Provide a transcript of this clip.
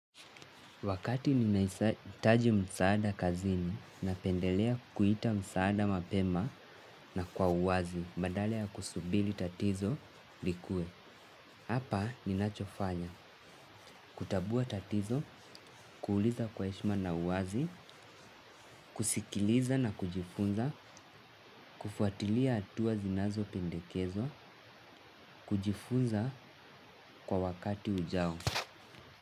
Wakati ninahitaji msaada kazini napendelea kuita msaada mapema na kwa uwazi badala ya kusubiri tatizo likue. Hapa ninachofanya kutambua tatizo, kuuliza kwa heshima na uwazi, kusikiliza na kujifunza, kufuatilia hatua zinazopendekezwa, kujifunza kwa wakati ujao.